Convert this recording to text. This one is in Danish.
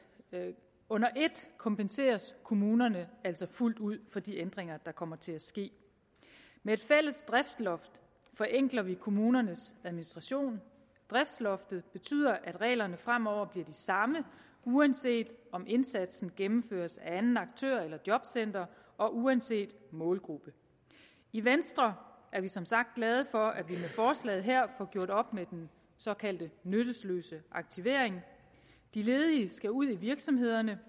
under et kompenseres kommunerne altså fuldt ud for de ændringer der kommer til at ske med et fælles driftsloft forenkler vi kommunernes administration driftsloftet betyder at reglerne fremover bliver de samme uanset om indsatsen gennemføres af en anden aktør eller jobcentret og uanset målgruppe i venstre er vi som sagt glade for at vi med forslaget her får gjort op med den såkaldte nytteløse aktivering de ledige skal ud i virksomhederne